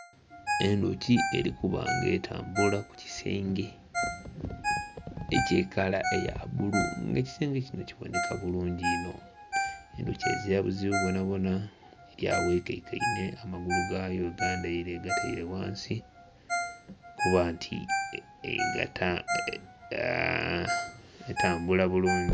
Endhuki eri kuba nga etambula ku kisenge eky'ekala eya bbulu nga ekisenge kino kiboneka bulungi inho, endhuki ezira buzibu bwonabwona eri agho eikaikainhe amagulu gayo egandhaire egataire ghansi kuba nti egata .... etambula bulungi.